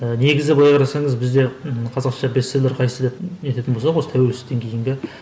і негізі былай қарасаңыз бізде і қазақша бестселлер қайсы деп не ететін болсақ осы тәуелсіздіктен кейінгі